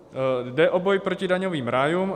Jde o boj proti daňovým rájům.